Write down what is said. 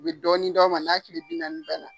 U bɛ dɔɔnin d'aw ma n'a tile binaani